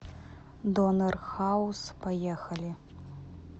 донер хаус поехали